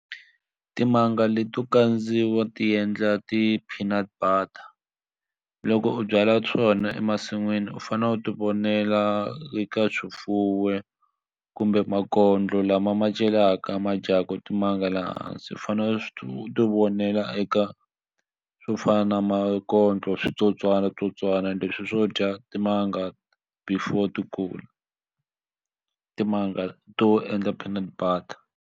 Timanga leto kandziwa ti endla ti-peanut butter loko u byala swona emasin'wini u fanele u ti vonela eka kumbe makondlo lama ma celaka ma jaku timanga le hansi u fane swo ti vonela eka swo fana na makondlo switsotswatsotswana ende leswi swo dya timanga before ti kula timanga to endla peanut butter.